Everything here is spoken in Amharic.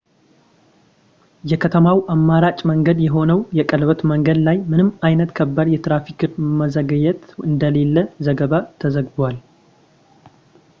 የከተማው አማራጭ መንገድ የሆነው የቀለበት መንገድ ላይ ምንም አይነት ከባድ የትራፊክ መዘግየት እንደሌለ ዘገባ ተዘግቧል